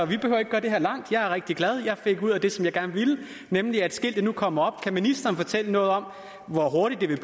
vi behøver ikke gøre det her langt jeg er rigtig glad jeg fik det ud af det som jeg gerne ville nemlig at skiltet nu kommer op kan ministeren fortælle noget om hvor hurtigt det vil